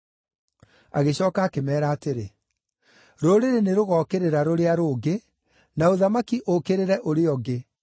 Agĩcooka akĩmeera atĩrĩ, “Rũrĩrĩ nĩrũgookĩrĩra rũrĩa rũngĩ, na ũthamaki ũũkĩrĩre ũrĩa ũngĩ.